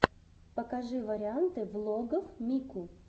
покажи варианты влогов мику